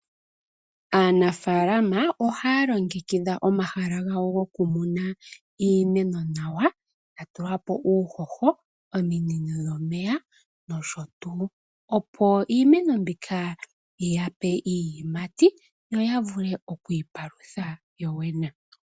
Aanafaalama ohaya longekidha omahala gawo goku muna iimeno nawa ya tulapo uuhoho nosho tuu. Opo iimeno mbika yiyape iiyimati yo ya vule oku iipalutha yoyene.